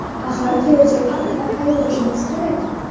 Axir kelajak haqida qayg‘urishimiz kerak.